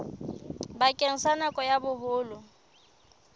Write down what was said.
bakeng sa nako ya boholo